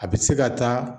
A bɛ se ka taa